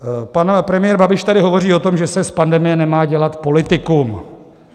Pan premiér Babiš tady hovoří o tom, že se z pandemie nemá dělat politikum.